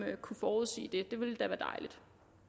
kunne forudsige det det ville da være dejligt